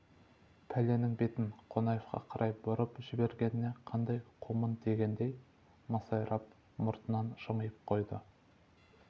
пәленің бетін қонаевқа қарай бұрып жібергеніне қандай қумын дегендей масайрап мұртынан жымиып қойды